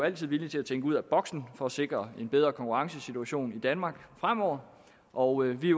altid villige til at tænke ud af boksen for at sikre en bedre konkurrencesituation i danmark fremover og vi